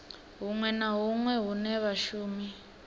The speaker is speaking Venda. hunwe na hunwe hune vhashumi